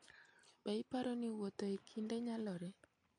Be iparo ni wuotho e kinde nyalore?